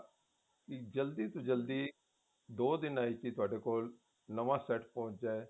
ਵੀ ਜਲਦੀ ਤੋਂ ਜਲਦੀ ਦੋ ਦਿਨਾ ਵਿੱਚ ਤੁਹਾਡੇ ਕੋਲ ਨਵਾਂ set ਪਹੁੰਚ ਜਾਏ